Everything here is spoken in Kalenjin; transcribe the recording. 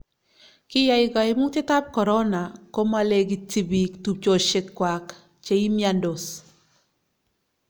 kiyai kaimutietab korona ko ma lekitji biik tupchesiekwak che imiandos